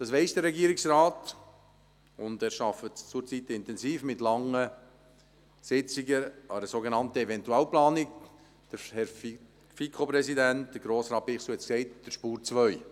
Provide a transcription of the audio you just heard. Das weiss der Regierungsrat, und er arbeitet zurzeit intensiv mit langen Sitzungen an einer sogenannten Eventualplanung, wie der Präsident der FiKo, Grossrat Bichsel, gesagt hat, an der «Spur 2».